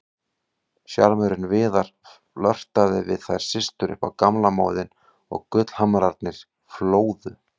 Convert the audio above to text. Sjarmörinn Viðar, flörtaði við þær systur upp á gamla móðinn og gullhamrarnir flóðu.